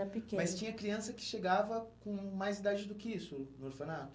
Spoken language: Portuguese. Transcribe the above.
era pequena. Mas tinha criança que chegava com mais idade do que isso no orfanato?